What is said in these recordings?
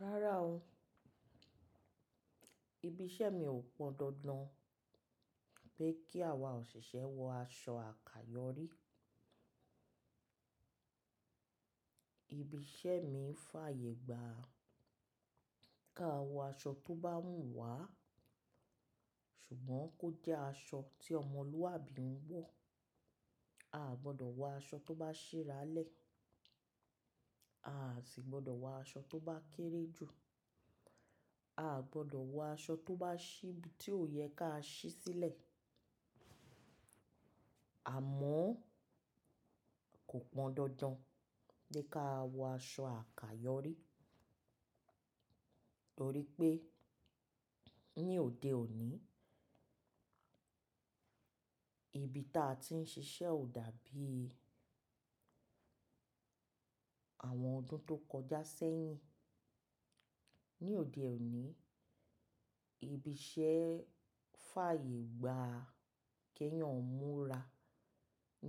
Rárá o. Ibi iṣẹ́ mi ò pọn dandan pé kí àwa òṣìṣẹ́ wọ aṣọ àkayòrí. Ibi iṣẹ́ mi fàyègba ká wọ aṣọ tó bá wùn wá, ṣùgbọ́n kó jẹ́ aṣọ tí ọmọlúwàbí ń wọ̀. A gbọdọ̀ wọ aṣọ tó bá ṣhi aralẹ̀, a à sì gbọdọ̀ wọ aṣọ tó bá kéré ju, a à gbọdọ̀ wọ aṣọ tó bá ṣíbí tí ò yẹ ká ṣí sílẹ̀. Àmọ́ kò pọn dandan pé ká wọ aṣọ àkayòrí, torí pé ní òde òní ibi tí a ti ń ṣiṣẹ́ ò dàbí àwọn ọdún tó kọjá sẹ́yìn. Ní òde òní, ibi iṣẹ́ fàyègba kí èèyàn múra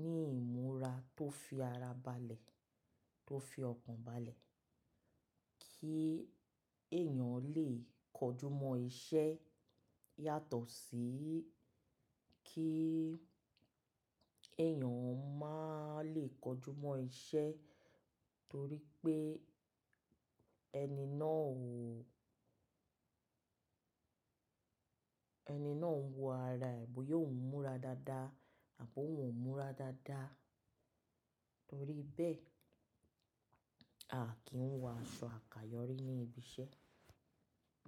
ní ìmúra tó fi ara balẹ̀, tó fi ọkọ́n balẹ̀ kí èèyàn lè kọjúmọ́ iṣẹ́ yàtọ̀ sí kí èèyàn má lè kọjúmọ́ iṣẹ́ torí pé ẹni náà ò, ẹni náà ń wọ ara è bi oun múra dáadáa àbi òun ò múra dáadáa. Torí bẹ́ẹ̀, a kì í wọ aṣọ àkayòrí ní ibi iṣẹ́